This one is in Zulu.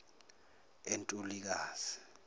untulikazi